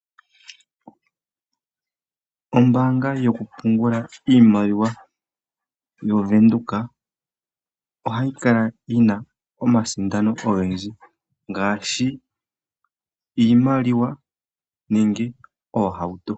Ombaanga yokupungula iimaliwa yovenduka ohayi kala yina omasindano Ogendji ngaashi iimaliwa nenge oohauto.